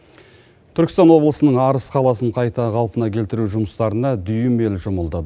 түркістан облысының арыс қаласын қайта қалпына келтіру жұмыстарына дүйім ел жұмылды